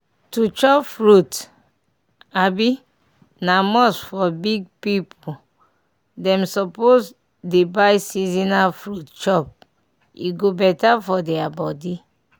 to chop furit um na must for big pipu dem suppose dey buy seasonal fruit chop e go better for deir body.